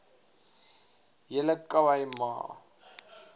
hele khai ma